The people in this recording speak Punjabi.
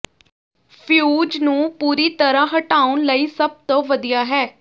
ਫਿਊਜ਼ ਨੂੰ ਪੂਰੀ ਤਰ੍ਹਾਂ ਹਟਾਉਣ ਲਈ ਸਭ ਤੋਂ ਵਧੀਆ ਹੈ